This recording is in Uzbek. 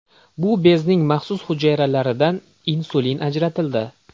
Bu bezning maxsus hujayralaridan insulin ajratildi.